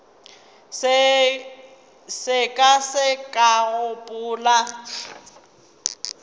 se ka ke ka gopola